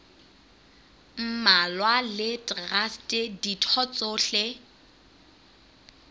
mmalwa le traste ditho tsohle